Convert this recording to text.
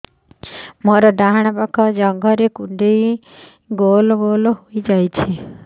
ମୋର ଡାହାଣ ପାଖ ଜଙ୍ଘରେ କୁଣ୍ଡେଇ ଗୋଲ ଗୋଲ ହେଇଯାଉଛି